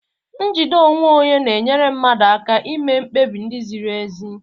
Njide onwe onye na-enyere mmadụ aka ime mkpebi ndị ziri ezi.